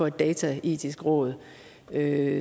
et dataetisk råd at